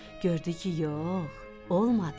Gördü ki, yox, olmadı.